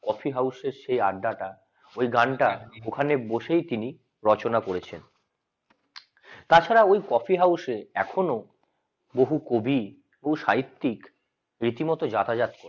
coffee হাউজের সেই আড্ডাটা ওই গানটা ওখানে বসে তিনি রচনা করেছেন তাছাড়া ওই কফি হাউসে এখনো বহু কবি সাহিত্যিক রীতিমতো যাতায়াত করে